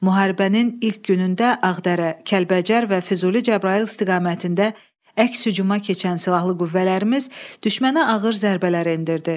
Müharibənin ilk günündə Ağdərə, Kəlbəcər və Füzuli-Cəbrayıl istiqamətində əks-hucuma keçən silahlı qüvvələrimiz düşmənə ağır zərbələr endirdi.